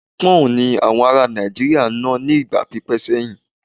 Pọ́ǹ ni àwọn ará Nàìjíríà ń ná ní ìgbà pípẹ́ sẹ́yìn.